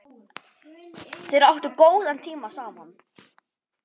Þeir áttu góðan tíma saman.